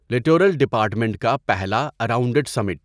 littoral department کا پہلا اراونڈڈسمنٹ